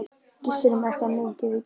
Gissur er með eitthvað mikið í bígerð.